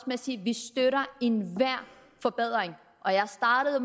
med at sige at vi støtter enhver forbedring og jeg startede